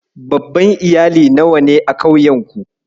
Babban Iyali nawa ne a ƙauyenku?